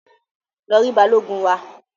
Lọ ri balogun wa!